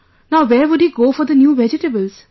Now where would he go for new vegetables